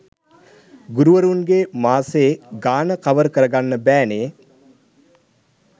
ගුරුවරුන්ගේ මාසේ ගාන කවර් කරගන්න බෑ නේ.